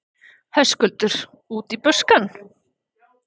Höskuldur: Út í buskann?